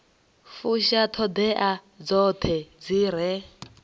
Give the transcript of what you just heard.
fusha ṱhoḓea dzoṱhe dzi re